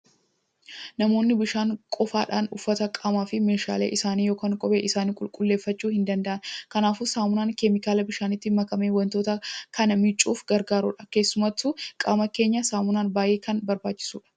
Namoonni bishaan qofaadhaan uffata, qaamaa fi meeshaalee isaanii yookiin kophee isaanii qulqulleeffachuu hin danda'ani. Kanaafuu saamunaan keemikaala bishaanitti makamee waantota kana miicuuf gargaarudha. Keessumattuu qaama keenyaaf saamunaan baay'ee kan barbaachisudha.